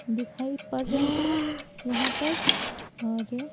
दिखाई पड़ रहे हैं यहाँ पर और--